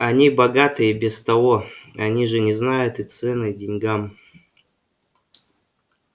они богаты и без того они же не знают и цены деньгам